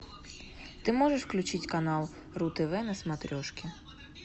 ты можешь включить канал ру тв на смотрешке